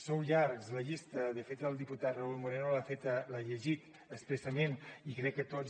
sou llargs la llista de fet el diputat raúl moreno l’ha llegit expressament i crec que tots